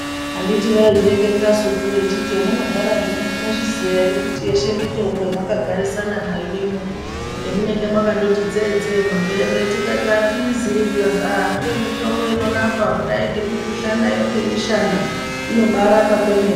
Handiti vaizvireketasupo echiti hemunogara zvino munozviziya ere kuti yeshe mitombo yemaka garisana nayo ino, yemunenge makangoti tsee tsee mumaberere tikati atiizii zvikazi aah ndiyo mitombo inorapa kudai ngemikushana yo ngemishana inobaarapa kwemene.